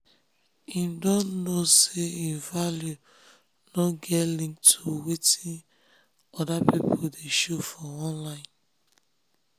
im don know say im value nor get link to wetin orda pipo dey show for online